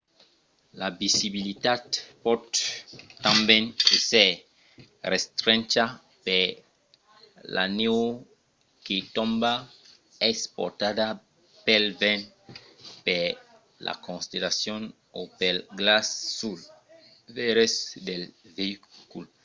la visibilitat pòt tanben èsser restrencha per la nèu que tomba o es portada pel vent per la condensacion o pel glaç suls veires del veïcul